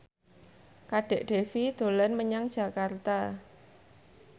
Kadek Devi dolan menyang Jakarta